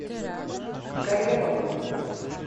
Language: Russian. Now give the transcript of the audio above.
гореловым